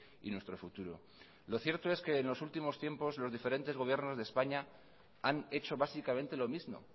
y nuestro futuro lo cierto es que en los últimos tiempos los diferentes gobiernos de españa han hecho básicamente lo mismo